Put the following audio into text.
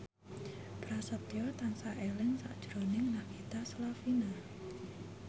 Prasetyo tansah eling sakjroning Nagita Slavina